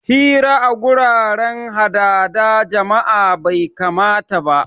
Hira a guraren hadahda jama'a bai kamata ba